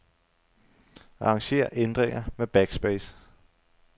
Arranger ændringer med backspace.